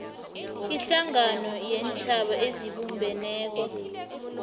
ihlangano yeentjhaba ezibumbeneko